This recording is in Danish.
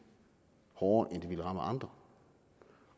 hårdere end det rammer andre